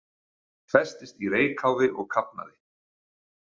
Festist í reykháfi og kafnaði